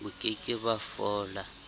bo ke ke ba fola